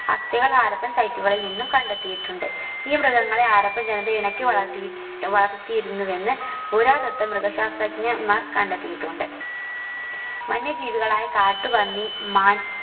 അസ്ഥികൾ ഹാരപ്പൻ site കളിൽ നിന്നും കണ്ടെത്തിയിട്ടുണ്ട് ഈ മൃഗങ്ങളെ ഹാരപ്പൻ ജനത ഇണക്കി വളർത്തി വളർത്തിയിരുന്നു എന്ന് പുരാതത്വ മൃഗശാസ്ത്രജ്ഞൻമാർ കണ്ടെത്തിയിട്ടുണ്ട് വന്യ ജീവികളായ കാട്ടുപന്നി മാൻ